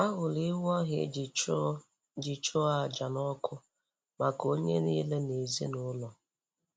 A hụrụ ewu ahụ e ji chụọ ji chụọ àjà n'ọkụ maka onye niile nọ n'ezinụlọ.